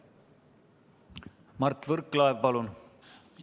Mart Võrklaev, palun!